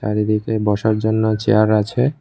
আর এদিকে বসার জন্য চেয়ার আছে।